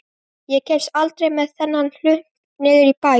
Ég kemst aldrei með þennan hlunk niður í bæ.